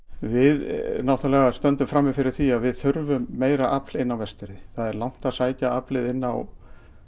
við náttúrulega stöndum frammi fyrir því að við þurfum meira afl inn á Vestfirði það er langt að sækja aflið inn á